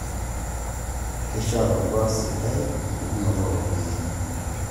Keshia te orkwak sidai enchukunoto oropiyiani